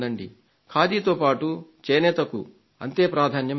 ఖాదీతో పాటు చేనేతలకు అంతే ప్రాధాన్యం ఇవ్వండి